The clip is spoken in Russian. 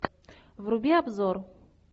вруби обзор